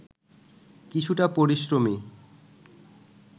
কিছুটা পরিশ্রমী